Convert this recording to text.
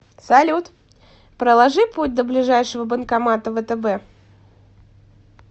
салют проложи путь до ближайшего банкомата втб